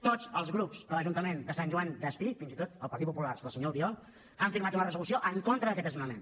tots els grups de l’ajuntament de sant joan despí fins i tot el partit popular del senyor albiol han signat una resolució en contra d’aquest desnonament